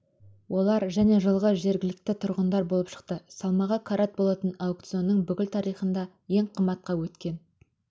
олар және жылғы жергілікті тұрғындар болып шықты салмағы карат болатын аукционның бүкіл тарихында ең қымбатқа өткен